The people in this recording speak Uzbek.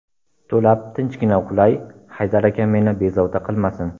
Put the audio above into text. To‘lab tinchgina uxlay, Haydar aka meni bezovta qilmasin.